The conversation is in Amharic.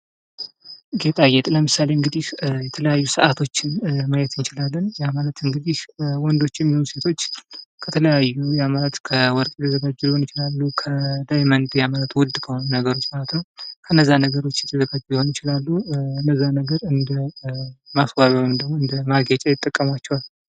ጌጣጌጥ ለምሳሌ እንግዲህ የተለያዩ ሰዐቶችን ማየት እንችላለን ።ያ ማለት እንግዲህ ወንዶችም ይሁን ሴቶች ከተለያዩ ያማራጭ ከወርቅ የተዘጋጁ ሊሆኑ ይችላሉ ፣ከዳይመንድ ያ ማለት ውድ ከሆነ ነገሮች ማለት ነው ።ከነዛ ነገሮች የተዘጋጁ ሊሆኑ ይችላሉ ።እነዚያን ነገር እንደ ማስዋቢያ ወይም ደግሞ እንደ ማጌጫ ይጠቀሟቸዋል።